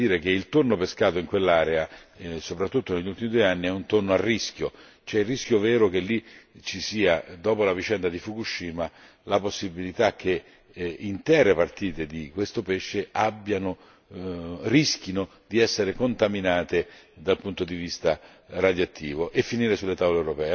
Io stesso, un anno fa, ebbi da dire che il tonno pescato in quell'area soprattutto negli ultimi due anni è un tonno a rischio c'è il rischio vero che lì ci sia, dopo la vicenda di Fukushima, la possibilità che intere partite di questo pesce rischino di essere contaminate dal punto di vista